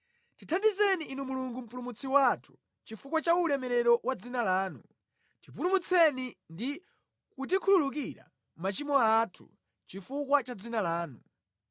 Tithandizeni Inu Mulungu Mpulumutsi wathu, chifukwa cha ulemerero wa dzina lanu; tipulumutseni ndi kutikhululukira machimo athu chifukwa cha dzina lanu.